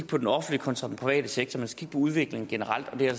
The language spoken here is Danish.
på den offentlige kontra den private sektor man skal kigge på udviklingen generelt og det er